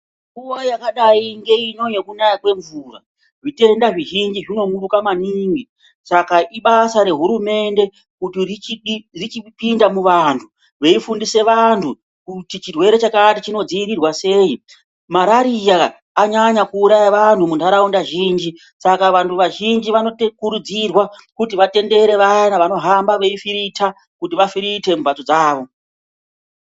Nguwa yakadai yakadai ngeino yekunaya kwemvura zvitenda zvizhinji zvinomuruka maningi saka iabaza rehurumende kuti richipinda muvantu veifundisa vantu kuti chirwere chakati chinodziirirwa sei, marariya anyanya kuuraya vantu muntaraunda zhinji Saka vantu vazhinji vanokurudzirwa kuti vatendere vaya vanohamba veifirita kuti vafirite mbatso dzavo.